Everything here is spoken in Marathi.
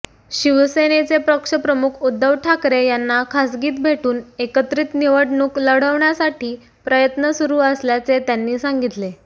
शिवसेनेचे पक्षप्रमुख उद्धव ठाकरे यांना खासगीत भेटून एकत्रित निवडणूक लढवण्यासाठी प्रयत्न सुरू असल्याचे त्यांनी सांगितले